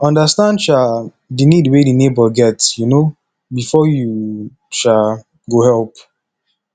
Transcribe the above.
understand um di need wey di neighbour get um before you um go help